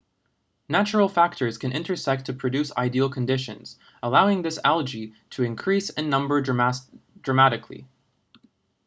natural factors can intersect to produce ideal conditions allowing this algae to increase in number dramatically